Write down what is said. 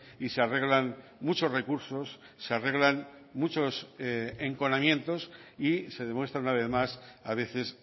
y se arreglan muchos recursos se arreglan muchos enconamientos y se demuestra una vez más a veces